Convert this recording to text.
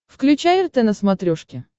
включай рт на смотрешке